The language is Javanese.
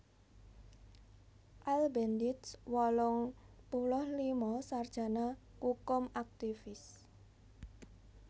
Al Bendich wolung puluh lima sarjana kukum aktivis